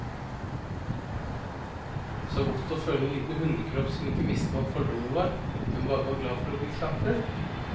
Så godt å føle en liten hundekropp som ikke visste hva fordommer var, men bare var glad for å bli klappet.